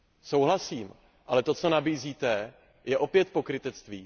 Souhlasím, ale to, co nabízíte, je opět pokrytectví.